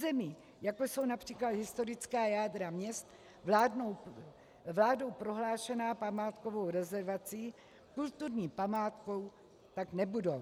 Území, jako jsou například historická jádra měst vládou prohlášená památkovou rezervací, kulturní památkou tak nebudou.